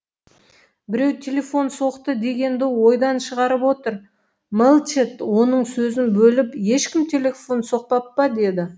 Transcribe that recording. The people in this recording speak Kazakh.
біреу телефон соқты дегенді ойдан шығарып отыр мэлчет оның сөзін бөліп ешкім телефон соқпап па деді